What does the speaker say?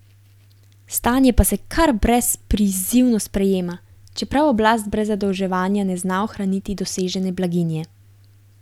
Stanje pa se kar brezprizivno sprejema, čeprav oblast brez zadolževanja ne zna ohraniti dosežene blaginje.